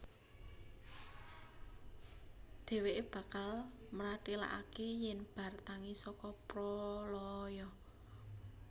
Dhèwèké bakal mratélakaké yèn bar tangi saka pralaya